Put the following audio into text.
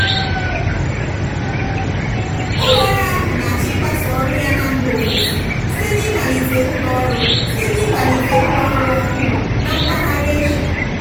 ụlọọrụ ahụ na-achọ ịgbasa ọrụ ya na mba ofesi site n'ịmalite ụlọọrụ site n'ịmalite ụlọọrụ ọhụụ na mpaghara eshia.